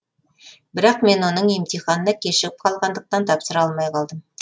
бірақ мен оның емтиханына кешігіп қалғандықтан тапсыра алмай қалдым